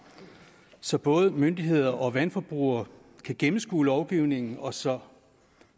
så både myndigheder og vandforbrugere kan gennemskue lovgivningen og så